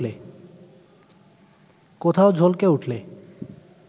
কোথাও ঝলকে উঠলে